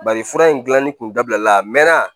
Bari fura in gilanni tun dabila a mɛnna